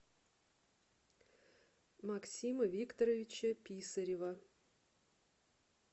максима викторовича писарева